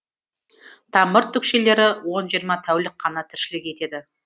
тамыр түкшелері он жиырма тәулік қана тіршілік етеді